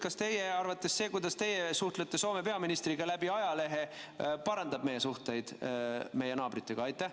Kas teie arvates see, et suhtlete Soome peaministriga läbi ajalehe, parandab meie suhteid naabritega?